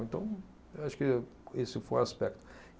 Então, eu acho que esse foi o aspecto.